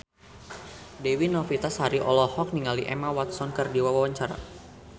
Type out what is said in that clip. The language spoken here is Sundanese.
Dewi Novitasari olohok ningali Emma Watson keur diwawancara